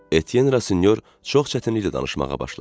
Etyen Rasinyor çox çətinliklə danışmağa başladı.